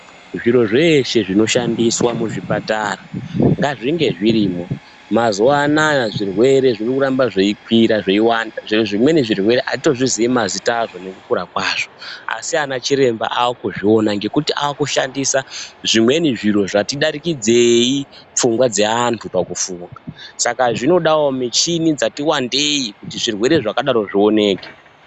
Zviro zveshe zvinoshandiswa muzvipatara ngazvinge zvirimwo. Mazuva anaya zvirwere zvirikuramba zveikwira, zveiwanda. Zvimweni zvirwere hatitozvizii mazita azvo nekukura kwazvo. Asi anachiremba aakuzviona ngekuti aakushandisa zvimweni zviro zvati darikidzei pfungwa dzeantu pakufunga. Saka zvinodawo michini dzati wandei kuti zvirwere zvakadaro zvioneke.